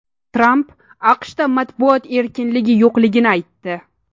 Tramp AQShda matbuot erkinligi yo‘qligini aytdi.